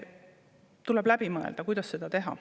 Tuleb läbi mõelda, kuidas seda teha.